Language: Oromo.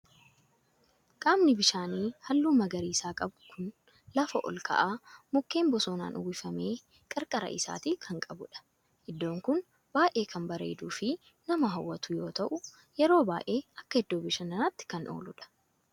Qaamni bishaanii halluu magariisa qabu kun lafa olka'aa mukkeen bosonaan uwwifame qarqara isaatii kan qabudha. Iddoon kun baayyee kan bareeduu fi nama hawwatu yoo ta'u yeroo baayyee akka iddoo bashannanaatti kan ooludha.